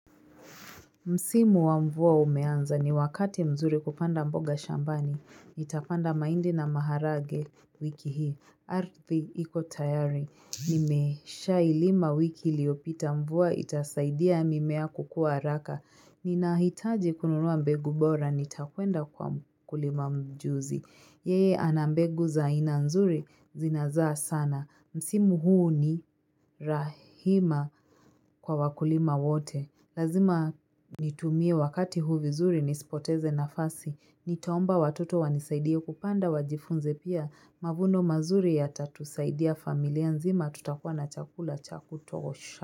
Msimu wa mvua umeanza ni wakati mzuri kupanda mboga shambani. Nitapanda mahindi na maharage wiki hii. Ardhi iko tayari. Nimeshailima wiki iliyopita mvua itasaidia mimea kukua haraka. Ninahitaji kununua mbegu bora nitakwenda kwa mkulima mjuzi. Yeye ana mbegu za aina nzuri zinazaa sana. Msimu huu ni rahima kwa wakulima wote. Lazima nitumie wakati huu vizuri nisipoteze nafasi, nitaomba watoto wanisaidie kupanda wajifunze pia, mavuno mazuri yatatusaidia familia nzima tutakuwa na chakula cha kutosha.